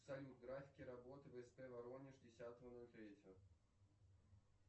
салют графики работы в сп воронеж десятого ноль третьего